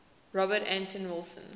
robert anton wilson